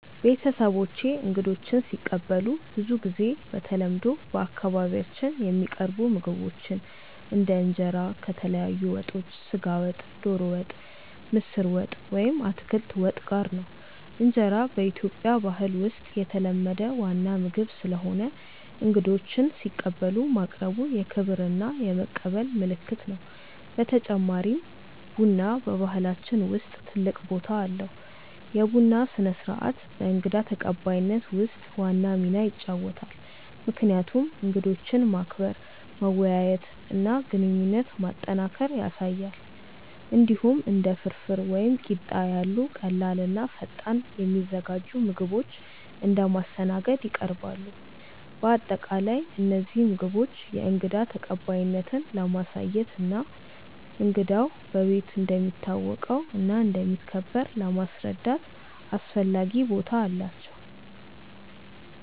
ቤተሰቦቼ እንግዶችን ሲቀበሉ ብዙ ጊዜ በተለምዶ በአካባቢያችን የሚቀርቡ ምግቦች እንደ እንጀራ ከተለያዩ ወጦች (ስጋ ወጥ፣ ዶሮ ወጥ፣ ምስር ወጥ ወይም አትክልት ወጥ) ጋር ነው። እንጀራ በኢትዮጵያ ባህል ውስጥ የተለመደ ዋና ምግብ ስለሆነ እንግዶችን ሲቀበሉ ማቅረቡ የክብር እና የመቀበል ምልክት ነው። በተጨማሪም ቡና በባህላችን ውስጥ ትልቅ ቦታ አለው፤ የቡና ስነ-ስርዓት በእንግዳ ተቀባይነት ውስጥ ዋና ሚና ይጫወታል፣ ምክንያቱም እንግዶችን ማክበር፣ መወያየት እና ግንኙነት ማጠናከር ያሳያል። እንዲሁም እንደ ፍርፍር ወይም ቂጣ ያሉ ቀላል እና ፈጣን የሚዘጋጁ ምግቦች እንደ ማስተናገድ ይቀርባሉ። በአጠቃላይ እነዚህ ምግቦች የእንግዳ ተቀባይነትን ለማሳየት እና እንግዳው በቤት እንደሚታወቀው እና እንደሚከበር ለማስረዳት አስፈላጊ ቦታ አላቸው።